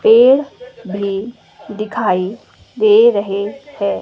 पेड़ भी दिखाई दे रहे हैं।